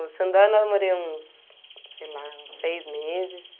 O Xandó eu namorei uns, sei lá, uns seis meses.